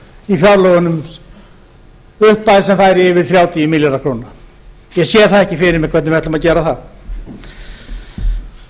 í fjárlögunum upphæð sem færi yfir þrjátíu milljarða króna ég sé það ekki fyrir mér hvernig við ætlum að gera það það mun